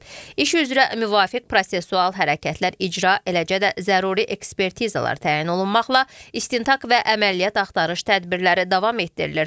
İş üzrə müvafiq prosessual hərəkətlər icra, eləcə də zəruri ekspertizalar təyin olunmaqla istintaq və əməliyyat axtarış tədbirləri davam etdirilir.